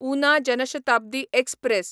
Una Jan Shatabdi express